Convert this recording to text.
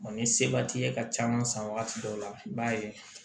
ni seba t'i ye ka caman san wagati dɔw la i b'a ye